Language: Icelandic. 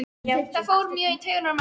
Það fór mjög í taugarnar á mömmu.